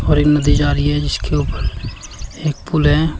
और एक नदी जा रही है जिसके ऊपर एक पूल है।